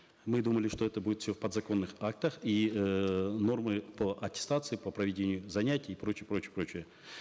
мы думали что это будет все в подзаконных актах и эээ нормы по аттестации по проведению занятий и прочее прочее прочее